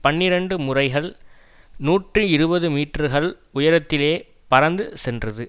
பனிரண்டு முறைகள் நூற்றி இருபது மீட்டர்கள் உயரத்திலே பறந்து சென்றது